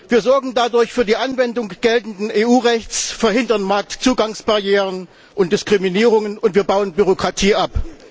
Wir sorgen dadurch für die Anwendung geltenden EU Rechts, verhindern Marktzugangsbarrieren und Diskriminierungen, und wir bauen Bürokratie ab.